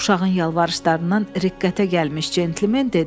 Uşağın yalvarışlarından riqqətə gəlmiş centlmen dedi: